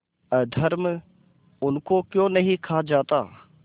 अधर्म उनको क्यों नहीं खा जाता